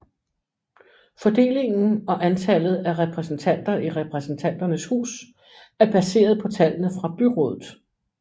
Fordelingen og antallet af repræsentanter i Repræsentanternes hus er baseret på tallene fra byrådet